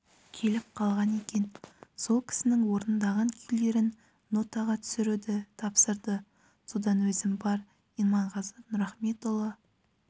келіп қалған екен сол кісінің орындаған күйлерін нотаға түсіруді тапсырды содан өзім бар иманғазы нұрахметұлы